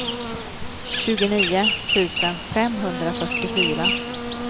tjugonio tusen femhundrafyrtiofyra